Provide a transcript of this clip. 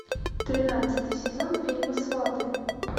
тринадцатый сезон фильма сваты